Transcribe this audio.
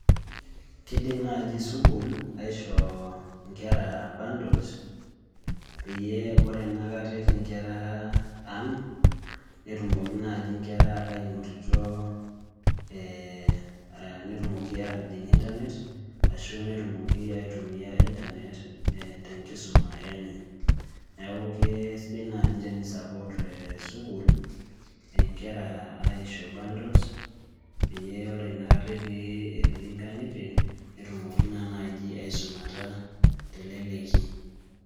Kiidim naaji sukuul aisho nkera bundles peyie ore ena kata etii nkera aang' netumoki naaji nkera ainotito ee netumoki aatijing' internet ashu netumoki aitumia internet ee tenkisuma enye neeku kesidai naaji tenisupport ee sukuul nkera aisho bundles pee ore naa inakata etii nkang'itie netumoki naa naaji aisumata teleleki.